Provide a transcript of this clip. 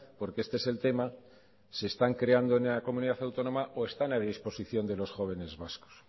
porque este es el tema se están creando en la comunidad autónoma o están a disposición de los jóvenes vascos